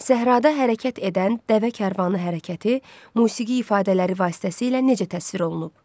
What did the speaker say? Səhrada hərəkət edən dəvə karvanı hərəkəti musiqi ifadələri vasitəsilə necə təsvir olunub?